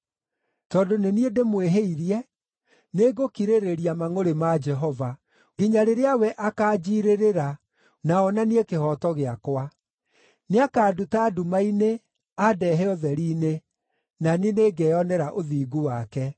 Tondũ nĩ niĩ ndĩmwĩhĩirie, nĩngũkirĩrĩria mangʼũrĩ ma Jehova nginya rĩrĩa we akaanjiirĩrĩra, na onanie kĩhooto gĩakwa. Nĩakanduta nduma-inĩ, andehe ũtheri-inĩ, na niĩ nĩngeyonera ũthingu wake.